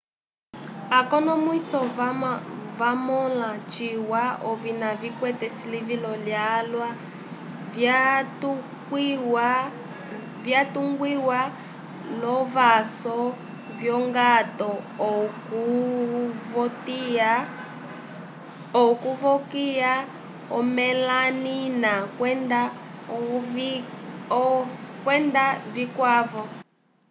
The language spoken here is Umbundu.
akonomwise vamõla ciwa ovina vikwete esilivilo lyalwa vyatungiwa l'ovãsu vyongato okuvokiya omelanina kwenda vikwavo